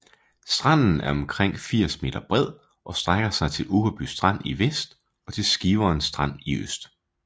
Stranden er omkring 80 m bred og strækker sig til Uggerby Strand i vest og til Skiveren Strand i øst